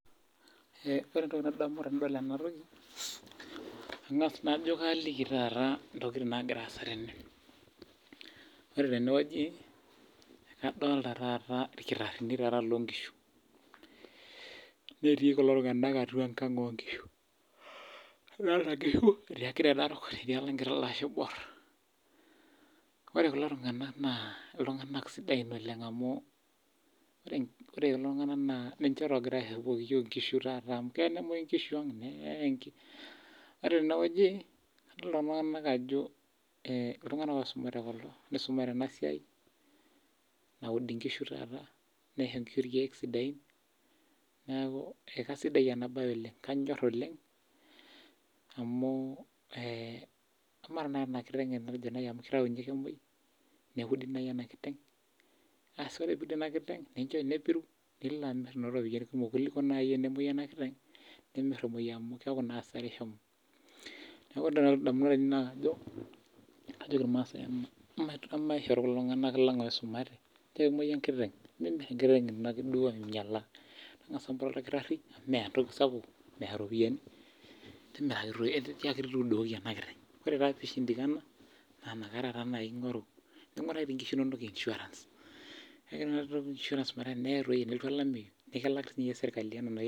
Ore entoki nadamu tenadol ena toki eng'as najo kaliki ntokitin nagira asaa tenewueji naa kadolita kulo kitarinj loo nkishu netii kulo tung'ana atua enkang oo nkishu edolita enkishu etii enkiteng Narok netii olashe oibor ore kulo tung'ana naa iltung'ana sidan oleng amu ninche ogira aripoki iyiok enkishu amu keyaa nemuoi enkishu ang neye ore tenewueji adol Ajo iltung'ana oisumare kulo nisumare enasiainaud enkishu niso enkishu irkeek sidain neeku aisidai ena mbae oleng kanyor amu emaa eneudi ena kiteng nepiru neimir eropiani sidain kuliko nemwoi ena kiteng neeye amu kiaku naa asara eshomo neeku ore entoki nalotu edamunot ainei naa kajoki irmaasai emaisho iltung'ana lang oisumate mee tenemuoyu enkiteng nimir ake duo ainyialaa tangasa moto odakirii amu metaa entoki sapuk meya ropiani tiaki tudukoki ena kiteng ore taa enakata pee eshindikana naa enakata eingoru ninguraki doi enkishu enono insurance metaa teneye tenelotu olamei nikilaki siiyie sirkali